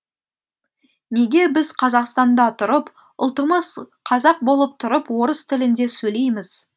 неге біз қазақстанда тұрып ұлтымыз қазақ болып тұрып орыс тілінде сөйлейміз